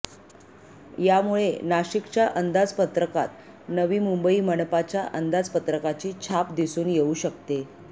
यामुळे नाशिकच्या अंदाजपत्रकात नवी मुंबई मनपाच्या अंदाजपत्रकाची छाप दिसून येऊ शकते